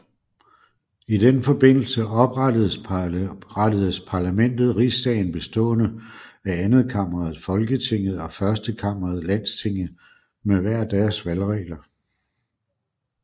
I den forbindelse oprettedes parlamentet Rigsdagen bestående af andetkammeret Folketinget og førstekammeret Landstinget med hver deres valgregler